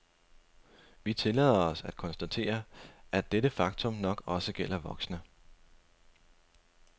Vi tillader os at konstatere, at dette faktum nok også gælder voksne.